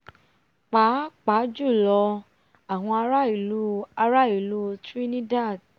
pàápàá jùlọ àwọn ará ìlú ará ìlú trinidad